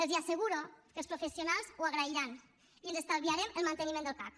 els asseguro que els professionals ho agrairan i ens estalviarem el manteniment del cac